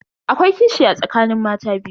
Akwai kishi a tsakanin mata biyu.